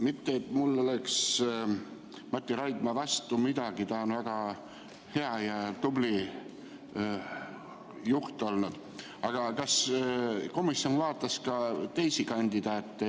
Mitte et mul oleks Mati Raidma vastu midagi, ta on väga hea ja tubli juht olnud, küsin, kas komisjon kaalus ka teisi kandidaate.